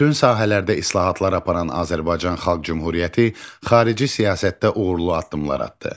Bütün sahələrdə islahatlar aparan Azərbaycan Xalq Cümhuriyyəti xarici siyasətdə uğurlu addımlar atdı.